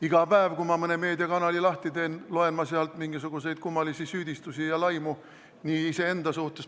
Iga päev, kui ma mõne meediakanali lahti teen, loen ma sealt mingisuguseid kummalisi süüdistusi ja laimu, ka iseenda kohta.